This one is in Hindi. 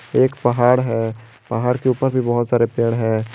एक पहाड़ है पहाड़ के ऊपर भी बहोत सारे पेड़ है।